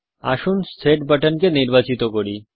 আসুন সেট বাটনকে নির্বাচিত করি